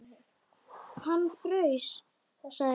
Hann fraus, sagði hún.